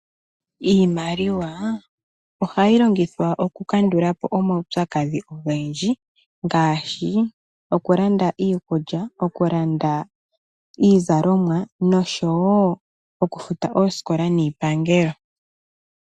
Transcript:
Iimaliwa ohayi longithwa oku kandulapo omaupyakadhi ogendji ngaashi okulanda iikulya, okulanda iizalomwa noshowo okufuta oosikola niipangelo.